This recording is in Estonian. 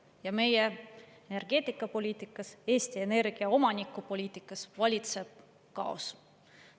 Ja meie energeetikapoliitikas, Eesti Energia omanikupoliitikas valitseb kaos.